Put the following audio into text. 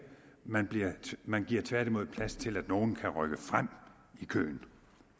man man giver tværtimod plads til at nogle kan rykke frem i køen